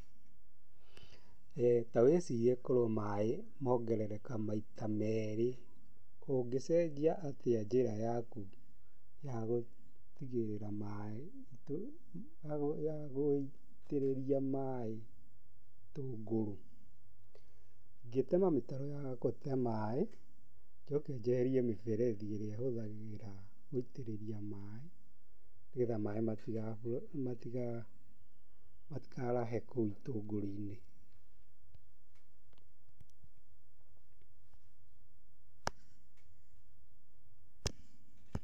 Ta wĩcirie korwo maaĩ mongerereka maita meerĩ, ũngĩcenjia atĩa njĩra yaku ya gũtigĩrĩra ma gũitĩrĩria maaĩ itũngũrũ. Ingĩtema mĩtaro ya gũte maĩ, njoke njeherie mĩberethi ĩrĩa hũthagĩra gũitĩrĩria maĩ, nĩgetha maĩ matikarahe kou itũngũrũ-inĩ.